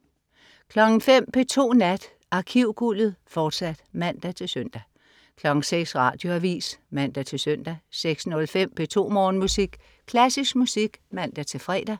05.00 P2 Nat. Arkivguldet, fortsat (man-søn) 06.00 Radioavis (man-søn) 06.05 P2 Morgenmusik. Klassisk musik (man-fre)